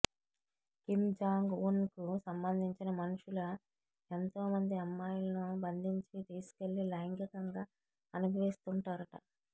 Kim Jong Un కు సంబంధించిన మనుషుల ఎంతోమంది అమ్మాయిలను బంధించి తీసుకెళ్లి లైంగికంగా అనుభవిస్తుంటారంట